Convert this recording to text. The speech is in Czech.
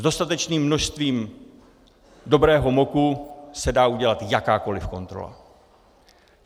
S dostatečným množstvím dobrého moku se dá udělat jakákoliv kontrola.